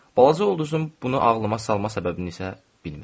Balaca ulduzun bunu ağlıma salma səbəbini isə bilmirəm.